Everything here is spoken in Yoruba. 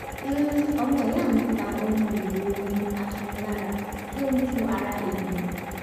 ọmọ ìya mi ta ohun èlò ọrin atunilára tí ó ń tu ara ènìyàn